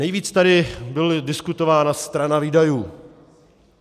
Nejvíc tady byla diskutována strana výdajů.